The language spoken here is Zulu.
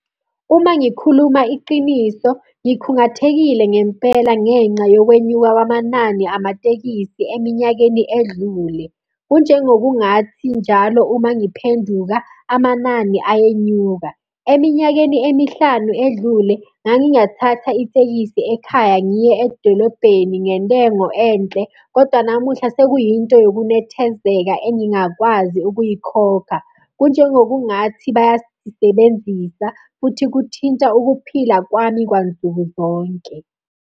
Uma ngikhuluma iqiniso, ngikhungathekile ngempela ngenxa yokwenyuka kwamanani amatekisi eminyakeni edlule. Kunjengokungathi njalo uma ngiphenduka, amanani ayenyuka. Eminyakeni emihlanu edlule, ngangingathatha itekisi ekhaya ngiye edolobheni ngentengo enhle, kodwa namuhla sekuyinto yokunethezeka engingakwazi ukuyikhokha. Kunjengokungathi bayasisebenzisa, futhi kuthinta ukuphila kwami kwansukuzonke.